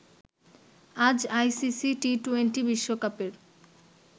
আজ আইসিসি টি২০ বিশ্বকাপের